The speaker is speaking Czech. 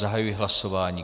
Zahajuji hlasování.